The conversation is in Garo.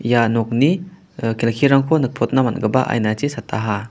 ia nokni kelkirangko nikprotna man·gipa ainachi sataha .